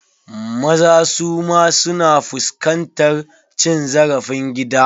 Maza suma su na fuskantar cin zarafin gida.